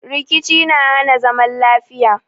Rikici na hana zaman lafiya